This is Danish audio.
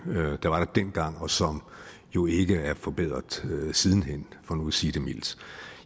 der var der dengang og som jo ikke er forbedret siden hen for nu at sige det mildt